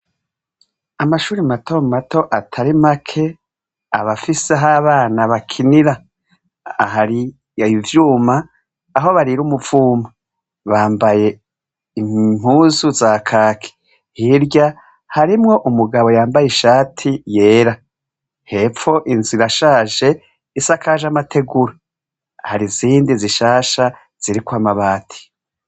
Amashuri mato mato atari make abafise aho abana bakinira, ahari ivyuma aho barira umuvuma, bambaye impuzu za kaki, hirya harimwo umugabo yambaye ishati yera, hepfo inzu irashaje isakaje amategura, hari izindi zishasha ziriko amabati.